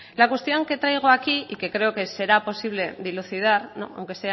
la cuestión que traigo aquí y creo que será posible dilucidar aunque